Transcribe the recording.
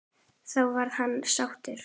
Þá verði hann sáttur.